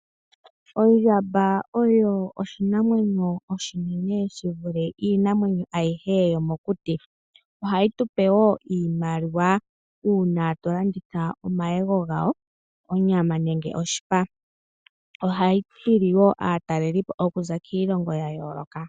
Ondjamba oyo oshinamwenyo oshinene yi vule iinamwenyo ayihe yomokuti. Ohayi tu pe iimaliwa uuna twa landitha omayego gawo, onyama nenge oshipa. Ohayi hili wo aatalelipo okuza kiilongo ya yooloka.